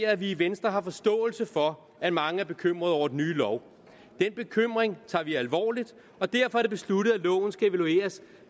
at vi i venstre har forståelse for at mange er bekymrede over den nye lov den bekymring tager vi alvorligt og derfor er det besluttet at loven skal evalueres